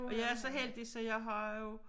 Og jeg er så heldig så jeg har jo